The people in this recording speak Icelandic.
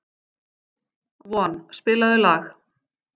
Von, spilaðu lag.